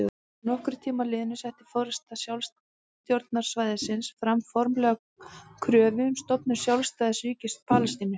Að nokkrum tíma liðnum setti forysta sjálfstjórnarsvæðisins fram formlega kröfu um stofnun sjálfstæðs ríkis Palestínu.